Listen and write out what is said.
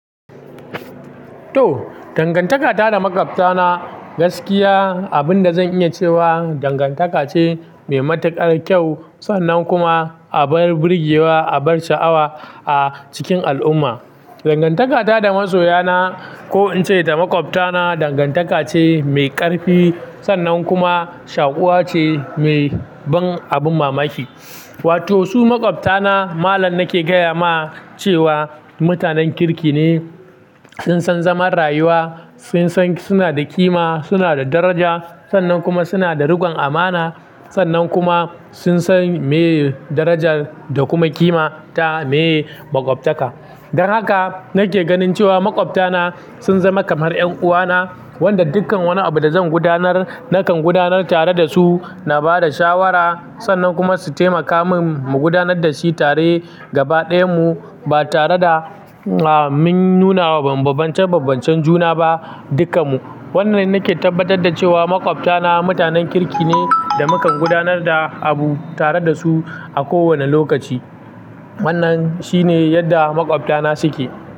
To, dangantaka ta da makwabta na gaskiya abin da zan iya cewa dangantaka ce mai matukar kyau sannan kuma abar burgewa abar sha'awa a cikin al'umma. Dangantaka ta da masoya na ko in ce da makwabta na dangantaka ce mai ƙarfi sannan kuma shaƙuwa ce mai ban abin mamaki. Wato su makwabta na malam nake gaya ma cewa mutanen kirki ne, sun san zaman rayuwa, sun san suna da kima, suna da daraja sannan kuma suna da riƙon amana sannan kuma sun san meye darajar da kuma kima ta me makwabta ka. Don haka nake ganin cewa makwabta na sun zama kamar 'yan uwa na wanda dukkan wani abu da zan gudanar nakan gudanar tare da su, na ba da shawara sannan kuma su taimaka min mu gudanar da shi tare gaba ɗayan mu ba tare da ah min nuna wa bambabancen bambancen juna ba dukkan mu. Wanna nake tabbatar da cewa makwabta na mutanen kirki ne da mukan gudanar da abu tare da su a kowane lokaci. Wannan shine yadda makwabta na suke.